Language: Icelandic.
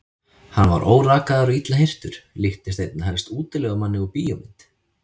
Hann var órakaður og illa hirtur, líktist einna helst útilegumanni úr bíómynd.